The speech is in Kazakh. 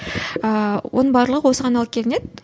ыыы оның барлығы осыған алып келінеді